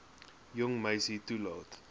jong meisie toelaat